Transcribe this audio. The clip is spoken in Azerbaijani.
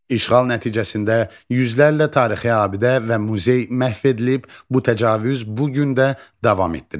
İşğal nəticəsində yüzlərlə tarixi abidə və muzey məhv edilib, bu təcavüz bu gün də davam etdirilir.